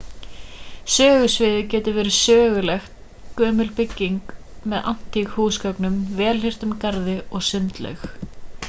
sögusviðið gæti verið söguleg gömul bygging með antíkhúsgögnum vel hirtum garði og sundlaug